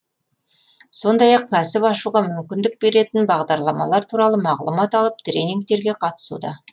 сондай ақ кәсіп ашуға мүмкіндік беретін бағдарламалар туралы мағлұмат алып тренингтерге қатысуда